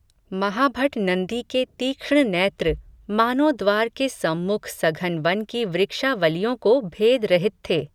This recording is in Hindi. महाभट नंदी के तीक्ष्ण नैत्र, मानो द्वार के सम्मुख सघन वन की वृक्षा वलियों को भेद रहित थे